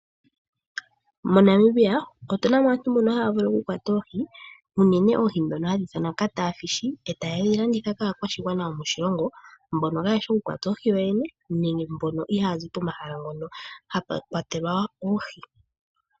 MoNamibia otuna mo aantu mboka haya vulu okukwata oohi unene, oohi dhoka hadhi ithanwa Cat fishi etaye dhi landitha kaakwashigwana yomoshilongo mboka kayeshi okukwata oohi yoyene nenge mboka ihayazi pomahala ngoka ihapu kwatelwa oohi.